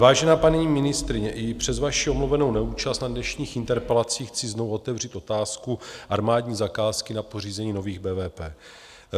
Vážená paní ministryně, i přes vaši omluvenou neúčast na dnešních interpelacích chci znovu otevřít otázku armádní zakázky na pořízení nových BVP.